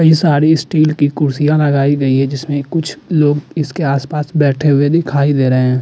कई साडी स्टील की कुर्सियां लगाई गई है जिसमे कुछ लोग इसके आसपास बैठे हुये दीखाई दे रहे हैं।